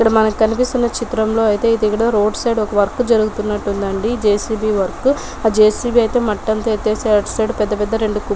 ఇక్కడ మనకి కనిపిస్తున్న చిత్రం లో అయితే ఇక్కడ మనకి రోడ్డు సైడ్ ఒక వర్క్ జరుగుతుంది అండి జే.సీ.బీ. వర్క్ ఆ జే.సీ.బీ. అయితే మట్టి అంతా ఎత్తేసి అటు సైడ్ రెండు కుప్పలు